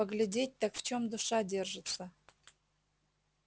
поглядеть так в чём душа держится